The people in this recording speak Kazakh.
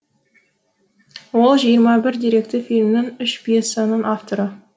ол жиырма бір деректі фильмнің үш пьесаның авторы